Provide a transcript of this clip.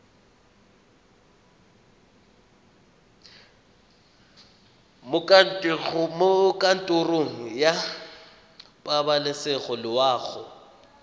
mo kantorong ya pabalesego loago